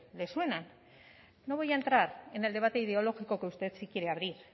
le suenan no voy a entrar en el debate ideológico que usted sí quiere abrir